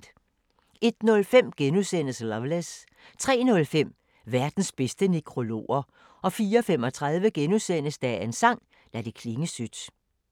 01:05: Loveless * 03:05: Verdens bedste nekrologer 04:35: Dagens sang: Lad det klinge sødt *